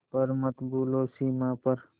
पर मत भूलो सीमा पर